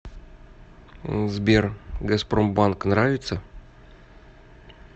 сбер газпромбанк нравится